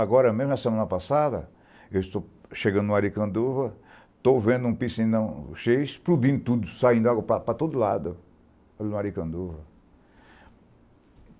Agora, mesmo na semana passada, eu estou chegando no Arikanduva, estou vendo um piscinão cheio, explodindo tudo, saindo água para todo lado, ali no Arikanduva.